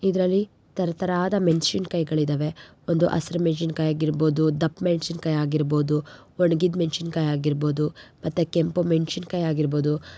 ಇದರಲ್ಲಿ ತರತರ ಆದ ಮೆಣಸಿನಕಾಯಿಗಳು ಇದವೆ ಒಂದು ಹಸಿರು ಮೆಣಸಿನಕಾಯಿ ಹಾಗಿರಬಹುದು ದಪ್ಪ ಮೆಣಸಿನಕಾಯಿ ಹಾಗಿರಬಹುದು ಹೊಣಗಿದ ಮೆಣಸಿನಕಾಯಿ ಹಾಗಿರಬಹುದು ಮತ್ತು ಕೆಂಪು ಮೆಣಸಿನಕಾಯಿ ಹಾಗಿರಬಹುದು.